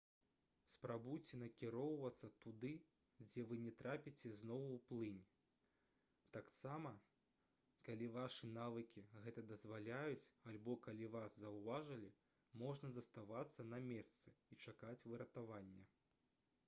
спрабуйце накіроўвацца туды дзе вы не трапіце зноў у плынь таксама калі вашы навыкі гэта дазваляюць альбо калі вас заўважылі можна заставацца на месцы і чакаць выратавання